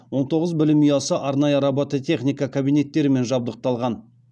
он тоғыз білім ұясы арнайы робототехника кабинеттерімен жабдықталған